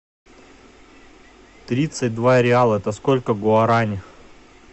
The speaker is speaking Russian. тридцать два реала это сколько гуарани